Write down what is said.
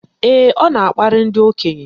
Ee, ọ na-akparị ndị okenye.